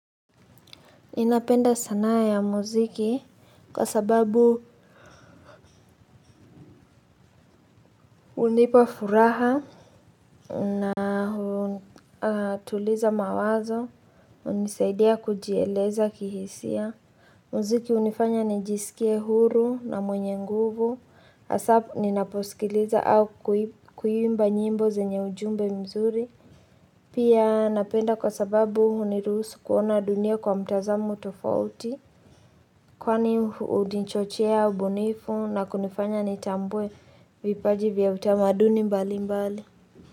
Ninapenda sanaa ya muziki kwa sababu hunipa furaha na tuliza mawazo hunisaidia kujieleza kihisia. Muziki hunifanya nijisikie huru na mwenye nguvu hasa ninaposikiliza au kuimba nyimbo zenye ujumbe mzuri. Pia napenda kwa sababu hunirusi kuona dunia kwa mtazamo tofauti kwani hunichochea ubunifu na kunifanya nitambue vipaji vya utamaduni mbali mbali.